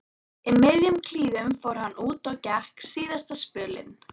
Í miðjum klíðum fór hann út og gekk síðasta spölinn.